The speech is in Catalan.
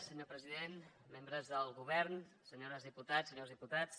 senyor president membres del govern senyores diputades senyors diputats